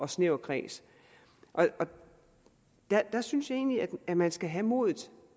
snæver kreds og der synes jeg egentlig at man skal have modet